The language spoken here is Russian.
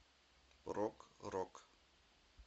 прог рок